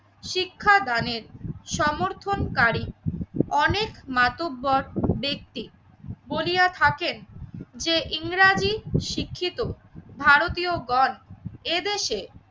শিক্ষাদানের সমর্থনকারী অনেক মাতব্বর ব্যক্তি বলিয়া থাকেন যে ইংরেজি শিক্ষিত ভারতীয়গন এদেশে